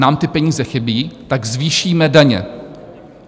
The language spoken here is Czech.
Nám ty peníze chybí, tak zvýšíme daně.